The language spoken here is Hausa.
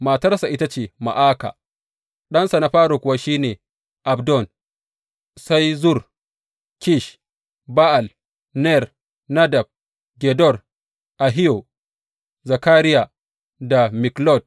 Matarsa ita ce Ma’aka ɗansa na fari kuwa shi ne Abdon, sai Zur, Kish, Ba’al, Ner, Nadab, Gedor, Ahiyo, Zakariya da Miklot.